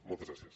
moltes gràcies